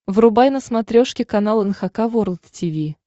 врубай на смотрешке канал эн эйч кей волд ти ви